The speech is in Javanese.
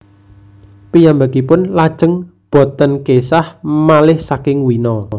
Piyambakipun lajeng boten késah malih saking Wina